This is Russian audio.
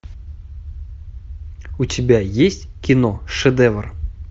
у тебя есть кино шедевр